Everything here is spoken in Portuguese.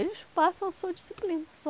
Eles passam a sua disciplina só.